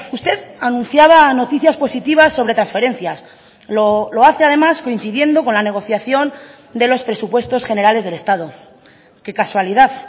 usted anunciaba noticias positivas sobre transferencias lo hace además coincidiendo con la negociación de los presupuestos generales del estado qué casualidad